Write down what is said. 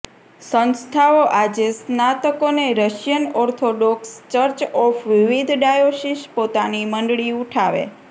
સંસ્થાઓ આજે સ્નાતકોને રશિયન ઓર્થોડોક્સ ચર્ચ ઓફ વિવિધ ડાયોસીસ પોતાની મંડળી ઉઠાવે